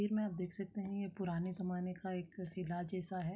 में आप देख सकते हैं ये पुराने ज़माने का एक किला जैसा है।